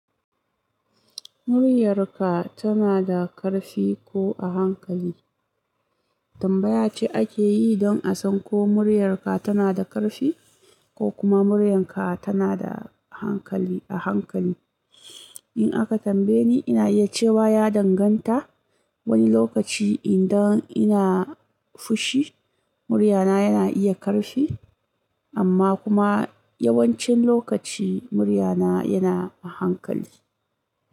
Muryarka tana da ƙarfi ko a hankali? Tambaya ce ake yi don a san ko muryarka tana da ƙarfi ko kuma muryarka tana da hankali a hankali. In aka tambaye ni, ina iya cewa ya danganta. Wani lokaci idan ina fushi, muryana yana iya ƙarfi, amma kuma yawan cin lokaci murya na yana a hankali.